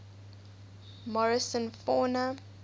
morrison fauna